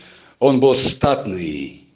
он был статный